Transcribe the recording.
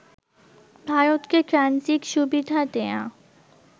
ভারতকে ট্রানজিট সুবিধা দেয়া